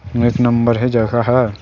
एक नंबर हे जगह ह--